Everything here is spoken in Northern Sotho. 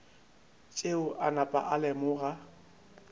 tšeo a napa a lemoga